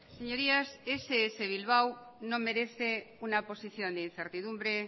señorías ess bilbao no merece una posición de incertidumbre